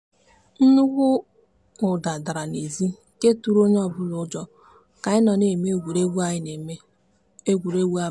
nnukwu ụda dara n'ezi nke tụrụ onye ọbụla ụjọ ka anyị na-eme egwuregwu anyị na-eme egwuregwu abalị.